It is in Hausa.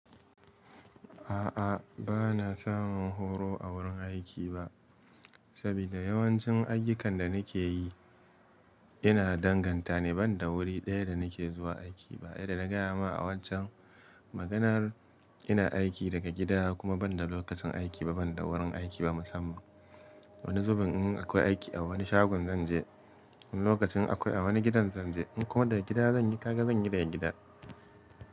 A'a, ba na samun horo a wurin aiki ba, saboda yawancin ayyukan da nake yi yana danganta ne, ban da wuri ɗaya da nake zuwa aiki ba. Yadda na gaya ma a waccen maganar, ina aiki daga gida kuma ban da lokacin aiki ba, ban da wurin aiki ba musamman. Wani zubin in akwai aiki a wani shagon zanje, wani lokacin akwai a wani gidan zanje. In kuma daga gida zan yi, haka zan yi da yan gidan.